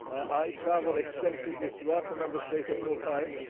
I travel extensively throughout the Member States at all times.